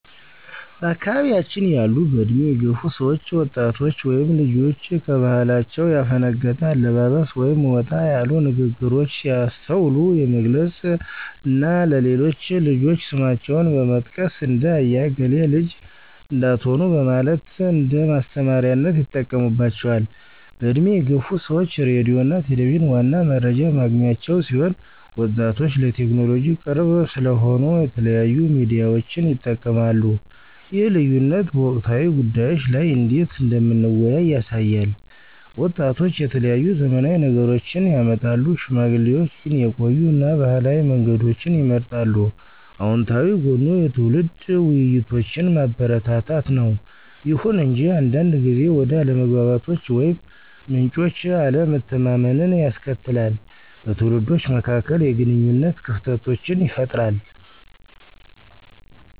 በአካባያችን ያሉ በእድሜ የገፉ ሰዎች ወጣቶች ወይም ልጆች ከባህላቸው ያፈነገጠ አለባበስ ወይም ወጣ ያሉ ንግሮች ሲያስተውሉ የመገሰፅ እና ለሌሎች ልጆች ስማቸውን በመጥቀስ ''እንደ አያ እገሌ ልጅ '' እንዳትሆኑ በማለት እንደማስተማሪያነት ይጠቀሙባቸዋል። በእድሜ የገፉ ሰዎች ሬዲዮ እና ቴሌቪዠን ዋና መረጃ ማግኛቸው ሲሆን ወጣቶች ለቴክኖሎጂ ቅርብ ስለሆኑ የተለያዩ ሚዲያዎችን ይጠቀማሉ ይህ ልዩነት በወቅታዊ ጉዳዮች ላይ እንዴት እንደምንወያይ ያሳያል። ወጣቶች የተለያዩ ዘመናዊ ነገሮችን ያመጣሉ፣ ሽማግሌዎች ግን የቆዩ እና ባህላዊ መንገዶችን ይመርጣሉ። አወንታዊ ጎኑ የትውልድ ውይይቶችን ማበረታታት ነው። ይሁን እንጂ አንዳንድ ጊዜ ወደ አለመግባባቶች ወይም ምንጮች አለመተማመንን ያስከትላል, በትውልዶች መካከል የግንኙነት ክፍተቶችን ይፈጥራል።